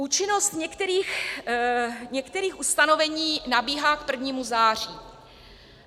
Účinnost některých ustanovení nabíhá k prvnímu září.